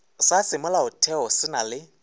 sa semolaotheo se na le